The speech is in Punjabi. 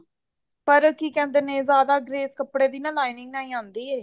ਪਰ ਕੀ ਕਹਿੰਦੇ ਨੇ ਜਿਆਦਾ grace ਕੱਪੜੇ ਦੀ ਨਾ lining ਨਾਲ ਹੀ ਆਉਂਦੀ ਹੈ